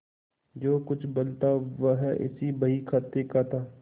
जो कुछ बल था वह इसी बहीखाते का था